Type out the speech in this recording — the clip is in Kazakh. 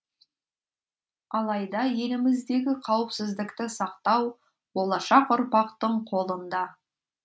алайда еліміздегі қауіпсіздікті сақтау болашақ ұрпақтың қолында